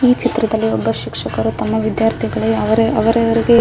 ಈ ಚಿತ್ರದಲ್ಲಿ ಒಬ್ಬ ಶಿಕ್ಷಕರು ತಮ್ಮ ವಿದ್ಯಾರ್ಥಿಗಳು ಅವರ ಅವರಿಗೆ --